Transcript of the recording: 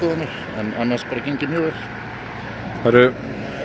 en annars bara gengið mjög vel það eru